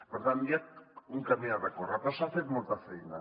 per tant hi ha un camí a recórrer però s’ha fet molta feina